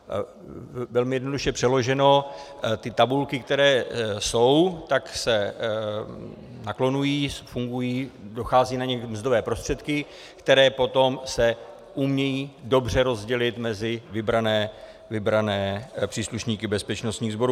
- Velmi jednoduše přeloženo, ty tabulky, které jsou, tak se naklonují, fungují, dochází na ně mzdové prostředky, které potom se umí dobře rozdělit mezi vybrané příslušníky bezpečnostních sborů.